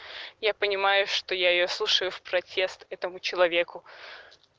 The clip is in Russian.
я понимаю что я её слушаю в протест этому человеку